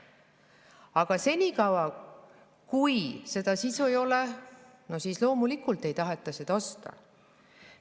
Aga senikaua, kui sisu ei ole, ei taheta loomulikult seda osta.